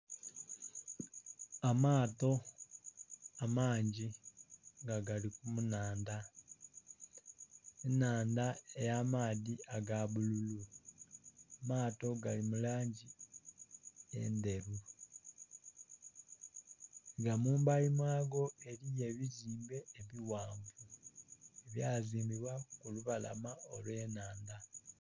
Amaato amangi nga gali mu nhandha. Enhandha eya amaadhi aga bululu. Amaato gali mu langi endheru. Nga mu mbali mwago eliyo ebizimbe ebighanvu, byazimbibwa ku lubalama olw'enhandha.